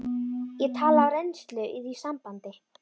Ég tala af reynslu í því sambandi.